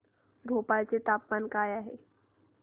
भोपाळ चे तापमान काय आहे